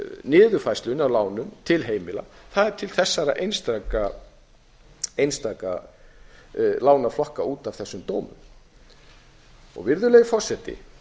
niðurfærslunni af lánum til heimila það er til þessara einstöku lánaflokka út af þessum dómum virðulegi forseti